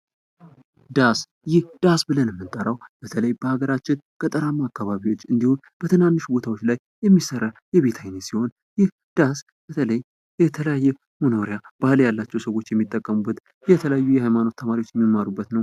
ዳስ ብለን የምንጠራው በሀገራችን ገጠራማው አካባቢ የሚሰራ ቤት ሲሆን የተለያዩ የሀይማኖት ተማሪዎችም የሚማሩበት ነው ።